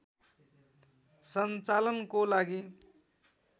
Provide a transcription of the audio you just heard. सञ्चालनको लागि